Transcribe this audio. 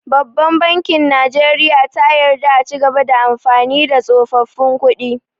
Babban bankin najeriya ta yarda a cigaba da amfani da tsofaffin kuɗi